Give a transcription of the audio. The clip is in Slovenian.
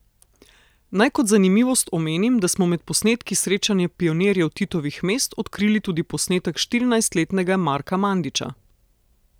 Naj kot zanimivost omenim, da smo med posnetki srečanja pionirjev Titovih mest odkrili tudi posnetek štirinajstletnega Marka Mandiča.